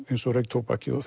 eins og reyktóbakið og